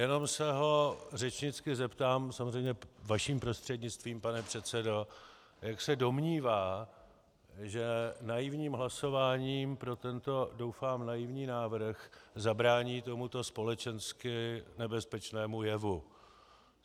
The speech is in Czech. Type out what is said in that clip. Jenom se ho řečnicky zeptám, samozřejmě vaším prostřednictvím, pane předsedo, jak se domnívá, že naivním hlasováním pro tento doufám naivní návrh zabrání tomuto společensky nebezpečnému jevu.